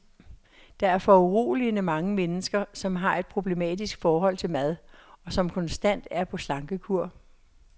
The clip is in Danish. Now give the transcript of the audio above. Der er foruroligende mange mennesker, som har et problematisk forhold til mad, og som konstant er på slankekur.